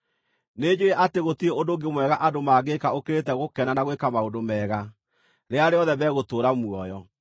Nĩnjũũĩ atĩ gũtirĩ ũndũ ũngĩ mwega andũ mangĩĩka ũkĩrĩte gũkena na gwĩka maũndũ mega rĩrĩa rĩothe megũtũũra muoyo.